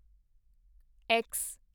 X